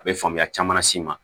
A bɛ faamuya caman las'i ma